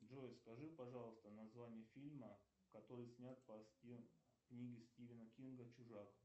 джой скажи пожалуйста название фильма который снят по книге стивена кинга чужак